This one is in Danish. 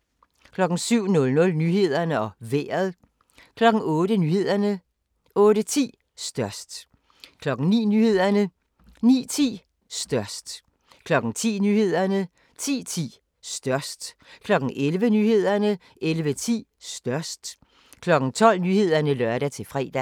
07:00: Nyhederne og Vejret 08:00: Nyhederne 08:10: Størst 09:00: Nyhederne 09:10: Størst 10:00: Nyhederne 10:10: Størst 11:00: Nyhederne 11:10: Størst 12:00: Nyhederne (lør-fre)